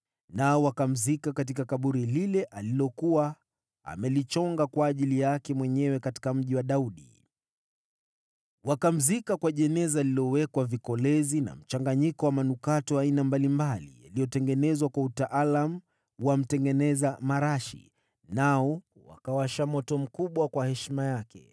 Nao wakamzika katika kaburi lile alilokuwa amejichongea mwenyewe katika Mji wa Daudi. Wakamzika kwa jeneza lililowekwa vikolezi na mchanganyiko wa manukato ya aina mbalimbali yaliyotengenezwa kwa utaalamu wa mtengeneza marashi, nao wakawasha moto mkubwa kwa heshima yake.